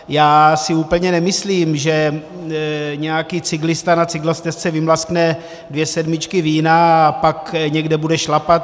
Já si úplně nemyslím, že nějaký cyklista na cyklostezce vymlaskne dvě sedmičky vína a pak někde bude šlapat.